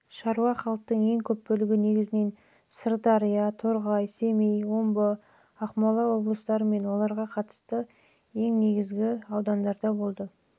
шаруа халықтың көп бөлігі негізінен сырдария торғай семей омбы ақмола облыстары мен оларға қарасты ең негізгі